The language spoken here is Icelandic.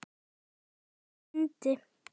Þá myndi